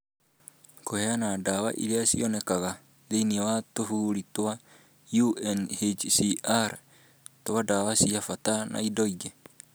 Kũheana ndawa iria cionekaga thĩinĩ wa tũbũri twa UNHCR twa ndawa cia bata na indo ingĩ